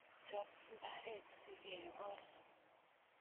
Chop mbaret sikekol